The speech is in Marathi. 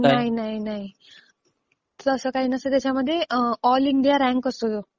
नाही, नाही, नाही. तसं काही नसतं त्यांच्यामध्ये. ऑल इंडिया रँक असतो.